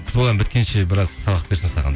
сол ән біткенше біраз сабақ берсін саған